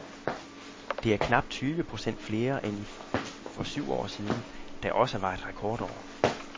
Det er knap tyve procent flere end i for syv år siden , der også var et rekordår.